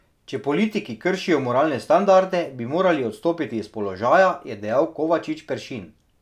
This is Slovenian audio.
Če politiki kršijo moralne standarde, bi morali odstopiti iz položaja, je dejal Kovačič Peršin.